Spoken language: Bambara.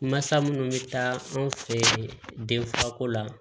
Masa minnu bɛ taa anw fɛ denfako la